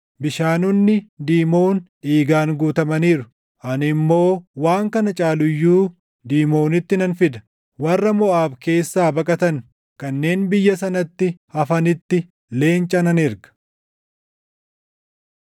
Bishaanonni Diimon dhiigaan guutamaniiru; ani immoo waan kana caalu iyyuu Diimonitti nan fida; warra Moʼaab keessaa baqatan kanneen biyya sanatti hafanitti leenca nan erga.